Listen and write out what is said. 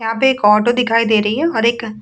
यहाँ पे एक ऑटो दिखाई दे रही है और एक --